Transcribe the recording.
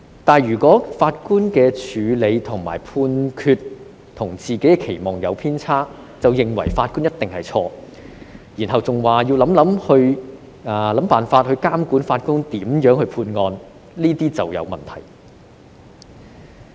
可是，如果法官的處理和判決與自己的期望有偏差時，便認為法官一定是錯，然後更揚言要想辦法監管法官如何判案，這就成問題了。